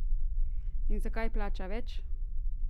In zakaj plača več?